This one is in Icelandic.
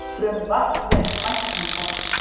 Frumvarp vekur væntingar